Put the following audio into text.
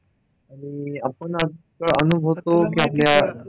आणि आपण आता अनुभवतो.